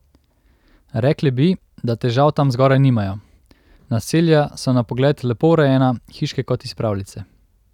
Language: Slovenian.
Rekli bi, da težav tam zgoraj nimajo, naselja so na pogled lepo urejena, hiške kot iz pravljice.